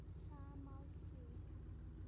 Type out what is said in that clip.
Sammála því?